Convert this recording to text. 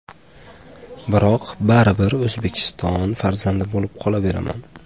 Biroq baribir O‘zbekiston farzandi bo‘lib qolaveraman.